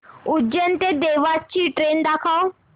उज्जैन ते देवास ची ट्रेन दाखव